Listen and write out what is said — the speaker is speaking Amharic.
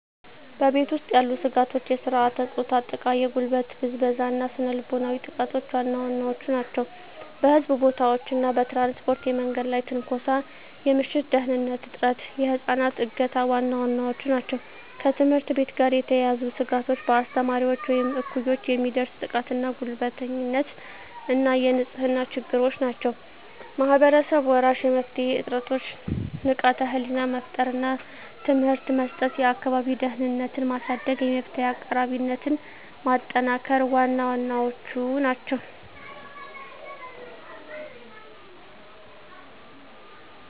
በቤት ውስጥ ያሉ ስጋቶች የሥርዓተ-ፆታ ጥቃ፣ የጉልበት ብዝበዛ እና ስነ ልቦናዊ ጥቃቶች ዋና ዋናዎቹ ናቸው። በሕዝብ ቦታዎች እና በትራንስፖርት የመንገድ ላይ ትንኮሳ፣ የምሽት ደህንንነት እጥረት፣ የህፃናት እገታ ዋና ዋናዎቹ ናቸው። ከትምህርት ቤት ጋር የተያያዙ ስጋቶች በአስተማሪዎች ወይም እኩዮች የሚደርስ ጥቃትና ጉልበተኝነት እና የንጽህና ችግሮች ናቸው። ማህበረሰብ-መራሽ የመፍትሄ ጥረቶች ንቃተ ህሊና መፍጠር እና ትምህርት መስጠት፣ የአካባቢ ደህንነትን ማሳደግ፣ የመፍትሄ አቅራቢነትን ማጠናከር ዋና ዋናዎቹ ናቸው።